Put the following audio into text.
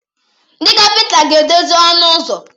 Ndị kapịnta ga-edozi ọnụ ụzọ.